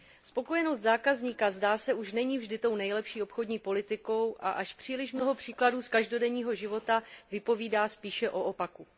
Spokojenost zákazníka, zdá se, už není vždy tou nejlepší obchodní politikou a až příliš mnoho příkladů z každodenního života vypovídá spíše o opaku.